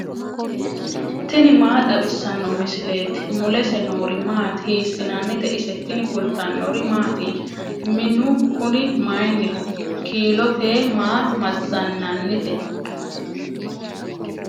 tini maa xawissanno misileeti ? mulese noori maati ? hiissinannite ise ? tini kultannori mattiya? Minnu kunni mayiiniho? Kiilotey maa mazanannitte?